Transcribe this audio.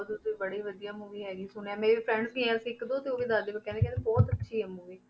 ਤੁਸੀਂ ਬੜੀ ਵਧੀਆ movie ਹੈਗੀ ਸੁਣਿਆ, ਮੇਰੇ friends ਗਏ ਸੀ ਇੱਕ ਦੋ ਤੇ ਉਹ ਵੀ ਦੱਸਦੇ ਪਏ ਕਹਿੰਦੇ ਕਹਿੰਦੇ ਬਹੁਤ ਅੱਛੀ ਹੈ movie